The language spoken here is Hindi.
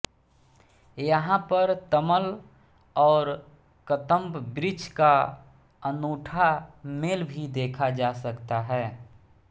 यहां पर तमल और कदम्ब वृक्ष का अनुठा मेल भी देखा जा सकता है